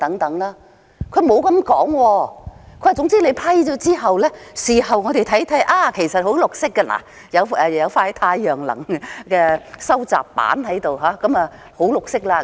政府沒有這樣說，只說批准之後，事後可以說你們看看，這裏安裝了一塊太陽能收集板，已經十分"綠色"了。